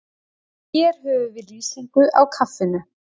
Hér höfum við lýsingu á kaffinu.